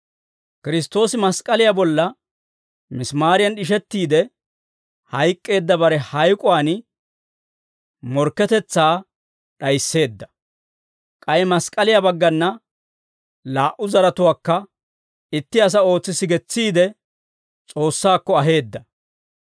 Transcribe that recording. Kiristtoosi mask'k'aliyaa bolla misimaariyan d'ishettiide hayk'k'eedda bare hayk'uwaan morkketetsaa d'ayiseedda; k'ay mask'k'aliyaa baggana laa"u zaratuwaakka itti asaa ootsi sigetsiide, S'oossaakko aheedda.